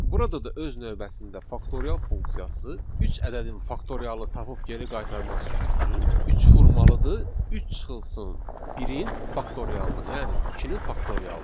Burada da öz növbəsində faktorial funksiyası üç ədədin faktorialını tapıb geri qaytarması üçün üçü vurmalıdır 3 çıxılsın 1-in faktorialına, yəni 2-nin faktorialına.